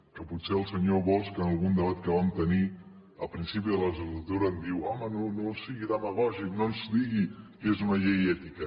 que potser el senyor bosch en algun debat que vam tenir al principi de la legislatura em diu home no sigui demagògic no ens digui que és una llei ètica